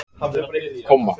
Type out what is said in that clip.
komma